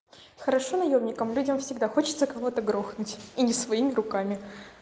хорошо наёмникам людям всегда хочется кого-то грохнуть и не своими руками